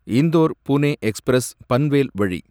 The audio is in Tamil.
இந்தோர் புனே எக்ஸ்பிரஸ் பன்வேல் வழி